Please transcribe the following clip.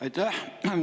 Aitäh!